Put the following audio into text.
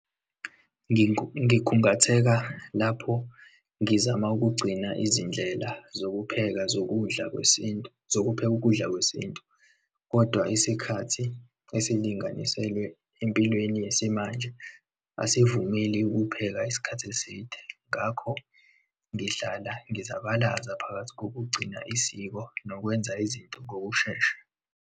Ngikhungatheka lapho ngizama ukugcina izindlela zokupheka zokudla kwesintu, zokupheka ukudla kwesintu, kodwa isikhathi esilinganiselwe empilweni yesimanje, asivumeli ukupheka isikhathi eside, ngakho ngihlala ngizabalaza phakathi kokugcina isiko nokwenza izinto ngokushesha.